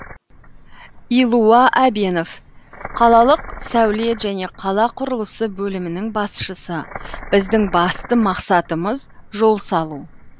илуа әбенов қалалық сәулет және қала құрылысы бөлімінің басшысы біздің басты мақсатымыз жол салу